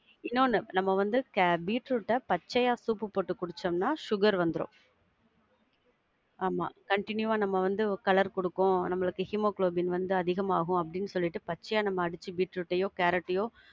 இன்னொன்னு நம்ம வந்து பீட்ரூட்ட பச்சையா soup போட்டு குடிச்சோம்னா, sugar வந்துரும். ஆமா continue ஆ நம்ம வந்து colour குடுக்கும், நம்மளுக்கு ஹீமோகுளோபின் வந்து அதிகமாகும் அப்படின்னு சொல்லிட்டு பச்சையா நம்ம அடிச்சு பீட்ரூட்டையோ கேரட்டையோ~